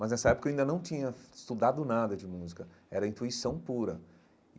Mas nessa época eu ainda não tinha estudado nada de música, era intuição pura e.